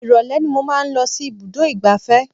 Ìrọ̀lẹ́ ni mo máa ń lọ sí ibùdó ìgbáfẹ́